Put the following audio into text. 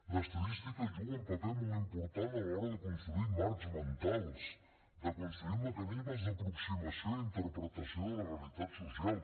l’estadística juga un paper molt important a l’hora de construir marcs mentals de construir mecanismes d’aproximació i d’interpretació de la realitat social